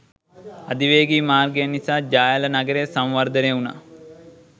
අධිවේගී මාර්ගය නිසා ජාඇල නගරය සංවර්ධනය වුණා